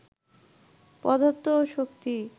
পদার্থ ও শক্তি